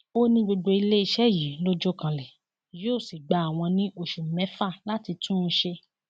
ó ní gbogbo iléeṣẹ yìí ló jọ kanlẹ yóò sì gba àwọn ní oṣù mẹfà láti tún un ṣe